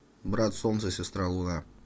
брат солнце сестра луна